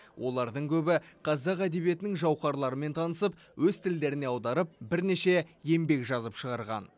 олардың көбі қазақ әдебиетінің жауһарларымен танысып өз тілдеріне аударып бірнеше еңбек жазып шығарған